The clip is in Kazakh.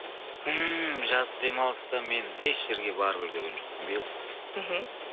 ммм жазғы демалыста мен еш жерге барып үлгерген жоқпын биыл мхм